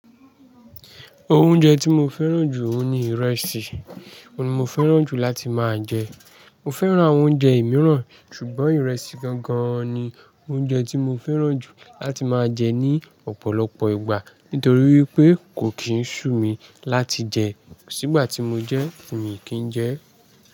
Oúnjẹ tí mo fẹ́ràn jù ni ìrẹsì, òun ni mo fẹ́ràn jù láti máa jẹ. Mo fẹ́ràn àwọn oúnjẹ ìmíràn, ṣùgbọ́n ìrẹsì gangan ni oúnjẹ tí mo fẹ́ràn jù láti máa jẹ ní ọ̀pọ̀lọpọ̀ ìgbà nítorí wípé kò kì í sú mi láti jẹ. Kòsí ìgbà tí mo jẹ́ tí mi o kín jẹẹ́.